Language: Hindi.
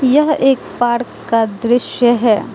यह एक पार्क का दृश्य है।